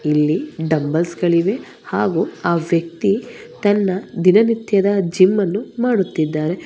ಇಲ್ಲಿ ಡಂಬಲ್ಸ್ ಗಳಿವೆ ಹಾಗೂ ಆ ವ್ಯಕ್ತಿ ತನ್ನ ದಿನನಿತ್ಯದ ಜಿಮ್ಮನ್ನು ಮಾಡುತ್ತಿದ್ದಾರೆ.